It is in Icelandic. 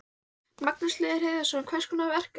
Magnús Hlynur Hreiðarsson: Hvers konar verk er þetta?